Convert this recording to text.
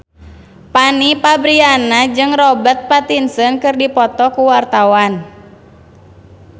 Fanny Fabriana jeung Robert Pattinson keur dipoto ku wartawan